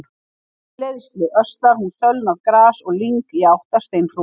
Í leiðslu öslar hún sölnað gras og lyng í áttina að steinhrúgu.